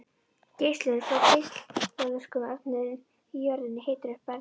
Geislun frá geislavirkum efnum í jörðunni hitar upp bergið.